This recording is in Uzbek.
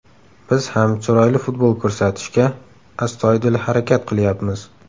Biz ham chiroyli futbol ko‘rsatishga astoydil harakat qilyapmiz.